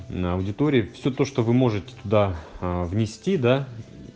на аудитории все то что вы можете да внести да